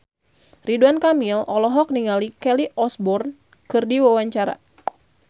Ridwan Kamil olohok ningali Kelly Osbourne keur diwawancara